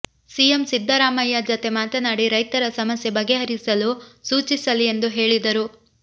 CM Siddaramaiah ಜತೆ ಮಾತನಾಡಿ ರೈತರ ಸಮಸ್ಯೆ ಬಗೆಹರಿಸಲು ಸೂಚಿಸಲಿ ಎಂದು ಹೇಳಿದರು